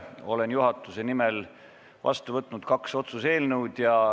Olen juhatuse nimel vastu võtnud kaks otsuse eelnõu.